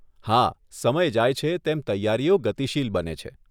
હા, સમય જાય છે, તેમ તૈયારીઓ ગતિશીલ બને છે.